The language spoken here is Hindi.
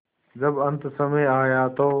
जब अन्तसमय आया तो